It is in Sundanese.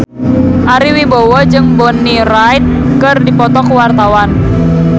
Ari Wibowo jeung Bonnie Wright keur dipoto ku wartawan